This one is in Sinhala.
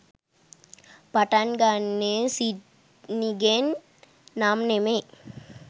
පටන් ගන්නෙ සිඩ්නිගෙන් නම් නෙමෙයි.